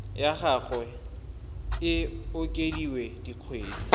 ya gagwe e okediwe dikgwedi